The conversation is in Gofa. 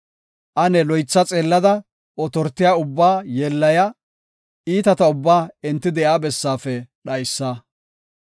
Ane loytha xeellada otortiya ubbaa yeellaya; iitata ubbaa enti de7iya bessaafe dhaysa.